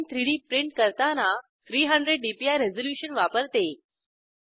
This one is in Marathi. gchem3डी प्रिंट करताना 300 डीपीआय रेझोल्युशन वापरते